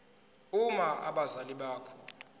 uma abazali bakho